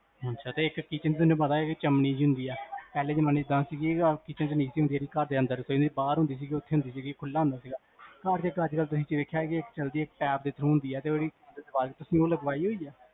ਅਛਾ, ਤੇ ਇਕ kitchen ਤੁਹਾਨੂੰ ਪਤਾ, ਚਿਮ੍ਨੀ ਜੀ ਹੁੰਦੀ ਆ